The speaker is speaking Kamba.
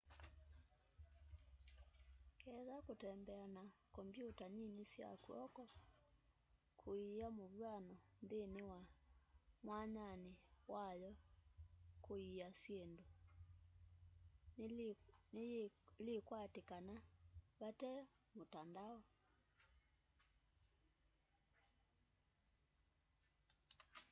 ketha kũtembea na kompyũta nĩnĩ sya kwoko kũĩya mũvywano nthĩnĩ wa mwanyanĩ wa yo wakũĩya syĩndũ nĩlĩkwatĩkana vate mũtandao